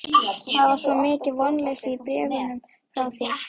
Það var svo mikið vonleysi í bréfunum frá þér.